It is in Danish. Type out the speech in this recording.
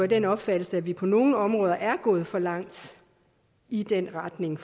den opfattelse at vi på nogle områder er gået for langt i den retning